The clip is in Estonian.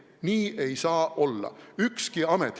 Nii ei saa olla.